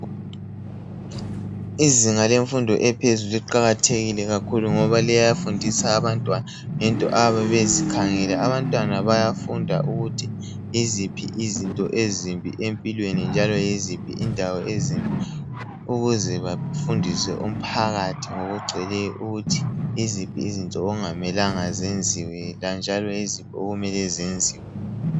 Izinga lemfundo ephezulu liqakathekile kakhulu ngoba liyafundisa abantwana ngezinto abazikhangeleyo. Abantwana bayafunda ukuthi yiziphi izinto ezimbi empilweni njalo yiziphi indawo ezimbi ukuze bafundise umphakathi ngokugcweleyo ukuthi yiziphi izinto okungamelanga zenziwe njalo yiziphi okumele zenziwe.